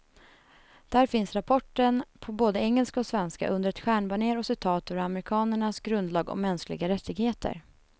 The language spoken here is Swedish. Där finns rapporten på både engelska och svenska, under ett stjärnbanér och citat ur amerikanernas grundlag om mänskliga rättigheter.